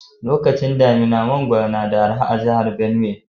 Lokacin damina, mangoro na da araha a'jihar Benue.